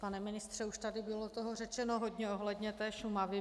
Pane ministře, už tady toho bylo řečeno hodně ohledně té Šumavy.